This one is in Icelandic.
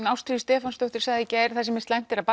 Ástríður Stefánsdóttir sagði í gær slæmt að